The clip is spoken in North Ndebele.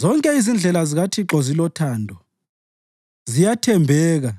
Zonke izindlela zikaThixo zilothando, ziyathembeka